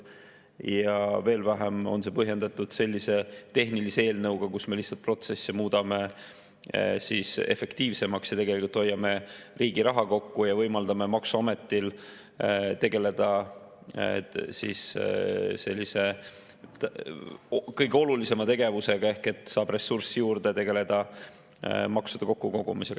Ja veel vähem on see põhjendatud sellise tehnilise eelnõu puhul, kus me lihtsalt protsessi muudame efektiivsemaks ja tegelikult hoiame riigi raha kokku ja võimaldame maksuametil tegeleda kõige olulisema tegevusega, et saab ressurssi juurde maksude kokkukogumiseks.